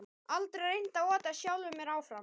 Aldrei reynt að ota sjálfum mér áfram